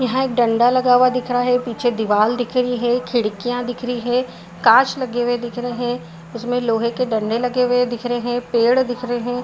यहाँ एक डंडा लगा हुआ दिख रहा है पीछे दिवार दिख रही है खिड़किया दिख रही है काच लगे हुए दिख रहे है उसमे लोहे के डंडे लगे हुए दिख रहे है पेड़ दिख रहे है।